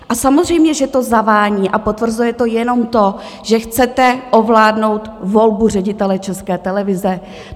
A samozřejmě že to zavání a potvrzuje to jenom to, že chcete ovládnout volbu ředitele České televize.